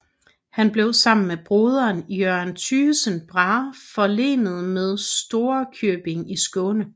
Han blev sammen med broderen Jørgen Thygesen Brahe forlenet med Storekjøbing i Skåne